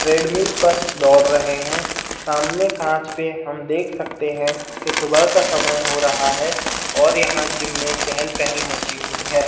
treadmill पर दोड़ रहे हैं सामने काँच पे हम देख सकते है की सुबह का समय हो रहा है और यहाँ जिम में चेहल पेहल मची हुई है|